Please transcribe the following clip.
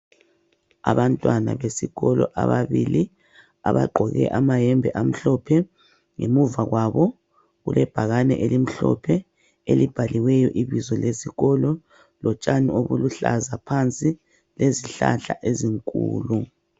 Abantwana besikolo ababili abgqoke amayembe amhlophe ngemuva kwabo kulebhakane elimhlophe elibhaliweyo ibizo lesikolo, lotshani obuluhlaza phansi lezihlahla ezinkulu.